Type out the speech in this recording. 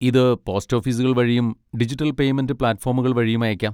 ഇത് പോസ്റ്റ് ഓഫീസുകൾ വഴിയും ഡിജിറ്റൽ പേയ്മെന്റ് പ്ലാറ്റ്ഫോമുകൾ വഴിയും അയയ്ക്കാം.